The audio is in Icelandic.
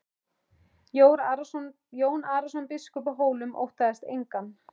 Jón Arason biskup á Hólum óttaðist engan.